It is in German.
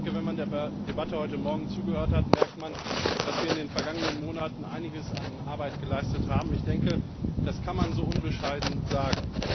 Wenn man der Debatte heute Morgen zugehört hat, hat man gemerkt, dass wir in den vergangenen Monaten einiges an Arbeit geleistet haben, ich denke, das kann man so unbescheiden sagen.